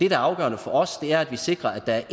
er afgørende for os er at vi sikrer at der er